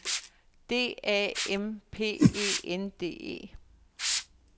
D A M P E N D E